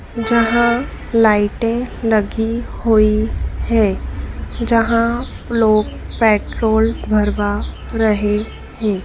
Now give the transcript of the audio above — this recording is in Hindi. जहां लाइटे लगी हुई है जहां लोग पेट्रोल भरवा रहे हैं।